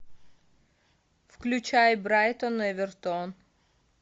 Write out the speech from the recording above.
включай брайтон эвертон